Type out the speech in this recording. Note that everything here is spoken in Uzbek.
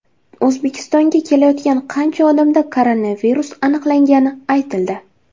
O‘zbekistonga kelayotgan qancha odamda koronavirus aniqlangani aytildi.